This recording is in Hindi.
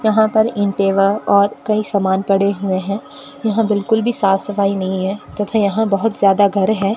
यहां पर ईंटे व और कई सामान पड़े हुए है यहां बिल्कुल भी साफ सफाई नहीं है तथा यहां बहुत ज्यादा घर है।